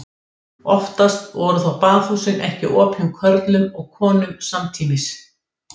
Heitin vísa til þess hvenær plantan blómstrar en það er ekki alltaf í nóvember.